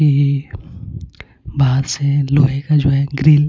कि बाहर से लोहे का जो है ग्रिल .